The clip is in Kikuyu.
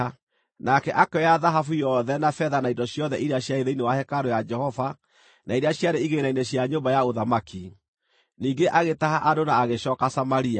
Nake akĩoya thahabu yothe na betha na indo ciothe iria ciarĩ thĩinĩ wa hekarũ ya Jehova na iria ciarĩ igĩĩna-inĩ cia nyũmba ya ũthamaki. Ningĩ agĩtaha andũ na agĩcooka Samaria.